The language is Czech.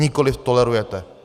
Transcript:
Nikoli tolerujete.